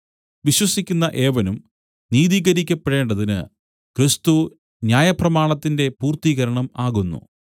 വിശ്വസിക്കുന്ന ഏവനും നീതികരിക്കപ്പെടേണ്ടതിന് ക്രിസ്തു ന്യായപ്രമാണത്തിന്റെ പൂർത്തീകരണം ആകുന്നു